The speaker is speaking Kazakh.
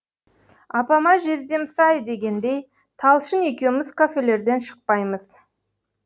апама жездем сай дегендей талшын екеуміз кафелерден шықпаймыз